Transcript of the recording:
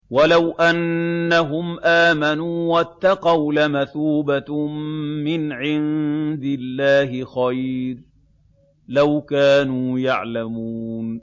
وَلَوْ أَنَّهُمْ آمَنُوا وَاتَّقَوْا لَمَثُوبَةٌ مِّنْ عِندِ اللَّهِ خَيْرٌ ۖ لَّوْ كَانُوا يَعْلَمُونَ